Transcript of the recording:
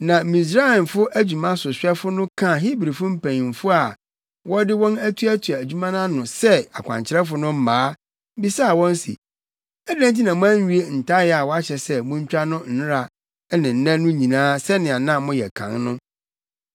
Na Misraimfo adwumasohwɛfo no kaa Hebrifo mpanyimfo a wɔde wɔn atuatua adwuma no ano sɛ akwankyerɛfo no mmaa, bisaa wɔn se, “Adɛn nti na moanwie ntayaa a wɔahyɛ sɛ muntwa no nnɛra ne nnɛ no nyinaa sɛnea na moyɛ kan no?”